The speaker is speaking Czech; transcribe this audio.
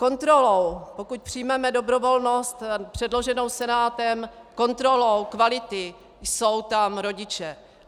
Kontrolou, pokud přijmeme dobrovolnost předloženou Senátem, kontrolou kvality jsou tam rodiče.